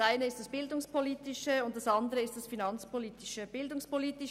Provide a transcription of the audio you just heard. Das eine ist der bildungspolitische Aspekt, und das andere ist die finanzpolitische Seite.